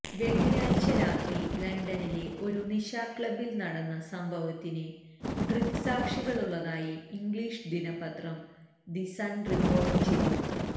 വെളളിയാഴ്ച രാത്രി ലണ്ടനിലെ ഒരു നിശാക്ലബില് നടന്ന സംഭവത്തിന് ദൃക്സാക്ഷികളുളളതായി ഇംഗ്ലീഷ് ദിനപത്രം ദി സണ് റിപ്പോര്ട്ട് ചെയ്തു